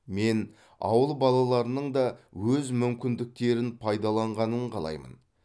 мен ауыл балаларының да өз мүмкіндіктері пайдаланғанын қалаймын